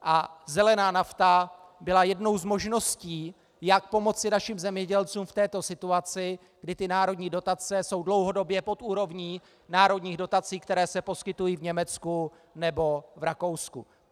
A zelená nafta byla jednou z možností, jak pomoci našim zemědělcům v této situaci, kdy ty národní dotace jsou dlouhodobě pod úrovní národních dotací, které se poskytují v Německu nebo v Rakousku.